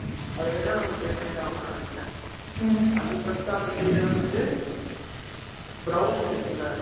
அது என்னன்னு, ஒண்ணு pay பண்ணித்தான் ஆகணும்னு நினைக்கிறேன். ம், அதுக்கு அடுத்து, அந்த side வந்துட்டு, brownies இருக்குல்ல!